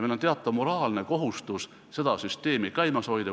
Meil on teatav moraalne kohustus seda süsteemi käimas hoida.